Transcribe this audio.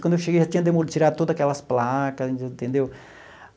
Quando eu cheguei já tinha demolido, tirado todas aquelas placas, entendeu?